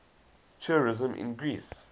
tourism in greece